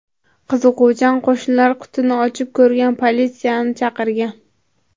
Qiziquvchan qo‘shnilar qutini ochib ko‘rgan va politsiyani chaqirgan.